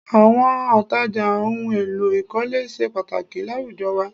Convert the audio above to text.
Àwọn òǹtajà ohun èlò ìkọ́lé ṣe pàtàkì láwùjọ wa